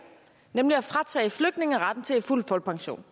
nemlig at fratage flygtninge retten til fuld folkepension